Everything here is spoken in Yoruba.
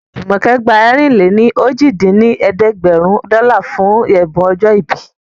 Jùmọ̀kẹ́ gba ẹ̀rin-lé-ní-ojì dín ní ẹ̀ẹ́dẹ́gbẹ́rún dọ́là fún ẹ̀bùn ọjọ́ ìbí